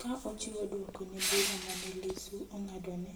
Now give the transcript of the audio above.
ka ochiwo dwoko ne bura mane lissu ong'adone,